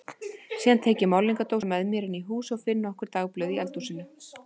Síðan tek ég málningardósina með mér inn í hús og finn nokkur dagblöð í eldhúsinu.